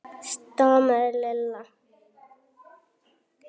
stamaði Lilla.